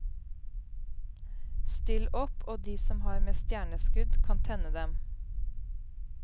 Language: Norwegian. Still opp, og de som har med stjerneskudd kan tenne dem.